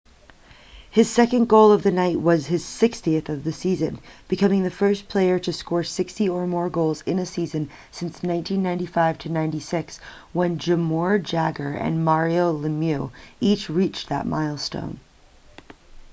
his second goal of the night was his 60th of the season becoming the first player to score 60 or more goals in a season since 1995-96 when jaromir jagr and mario lemieux each reached that milestone